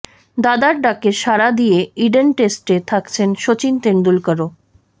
দাদার ডাকে সাড়া দিয়ে ইডেন টেস্টে থাকছেন শচীন তেন্ডুলকরও